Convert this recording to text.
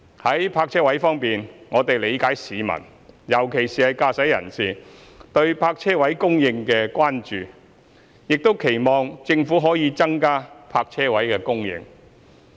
在泊車位方面，我們理解市民，尤其是駕駛人士，對泊車位供應的關注，亦期望政府可以增加泊車位供應。